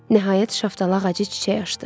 Nəhayət şaftalı ağacı çiçək açdı.